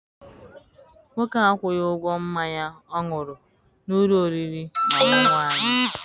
Nwoke a akwụghi ụgwọ mmanya ọ ṅụrụ n'ụlọ oriri na ọṅụṅụ anyị.